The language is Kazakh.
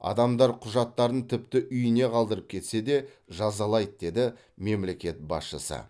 адамдар құжаттарын тіпті үйіне қалдырып кетсе де жазалайды деді мемлекет басшысы